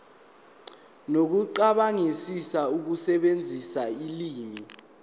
nokucabangisisa ukusebenzisa ulimi